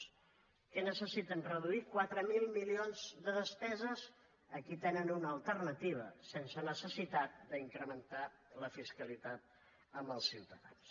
què necessiten reduir quatre mil milions de despeses aquí tenen una alternativa sense necessitat d’incrementar la fiscalitat als ciutadans